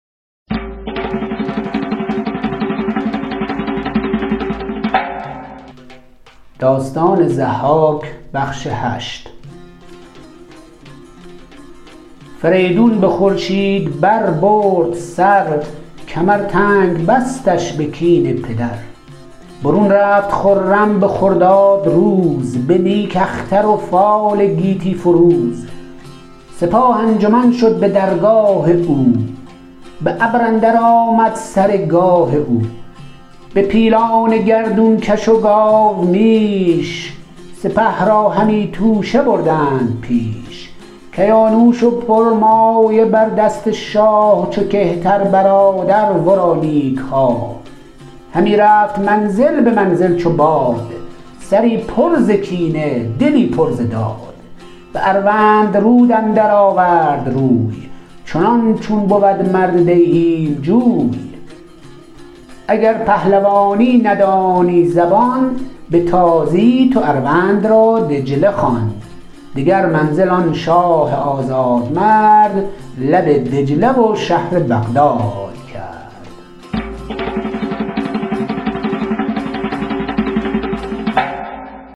فریدون به خورشید بر برد سر کمر تنگ بستش به کین پدر برون رفت خرم به خرداد روز به نیک اختر و فال گیتی فروز سپاه انجمن شد به درگاه او به ابر اندر آمد سر گاه او به پیلان گردون کش و گاومیش سپه را همی توشه بردند پیش کیانوش و پرمایه بر دست شاه چو کهتر برادر ورا نیک خواه همی رفت منزل به منزل چو باد سری پر ز کینه دلی پر ز داد به اروندرود اندر آورد روی چنان چون بود مرد دیهیم جوی اگر پهلوانی ندانی زبان به تازی تو اروند را دجله خوان دگر منزل آن شاه آزادمرد لب دجله و شهر بغداد کرد